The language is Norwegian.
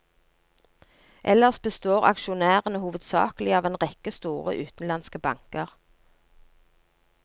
Ellers består aksjonærene hovedsakelig av en rekke store utenlandske banker.